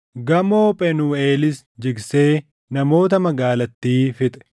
Gamoo Phenuuʼeelis jigsee namoota magaalattii fixe.